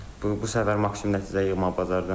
Bu səfər maksimum nəticə yığmağı bacardım.